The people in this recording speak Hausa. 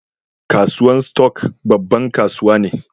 Kasuwan stock, babban kasuwa ne.